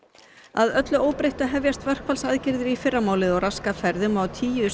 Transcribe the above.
að öllu óbreyttu hefjast verkfallsaðgerðir í fyrramálið og raska ferðum á tíu